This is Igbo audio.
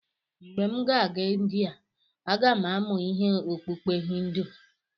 Mgbe m ga-aga Indiya, aga m amụ ime okpukpe Hindu.